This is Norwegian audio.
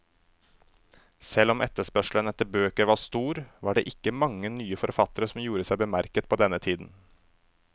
Selv om etterspørselen etter bøker var stor, var det ikke mange nye forfattere som gjorde seg bemerket på denne tiden.